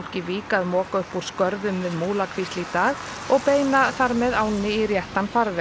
í Vík að moka upp úr skörðum við Múlakvísl í dag og beina þar með ánni í réttan farveg